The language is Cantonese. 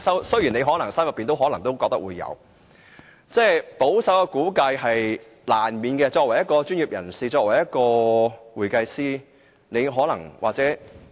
雖然這可能是他心中所想，但保守估計是在所難免的，因為他是專業人士，是會計師。